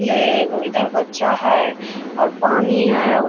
ले एगो इधर बच्चा है और पानी है और --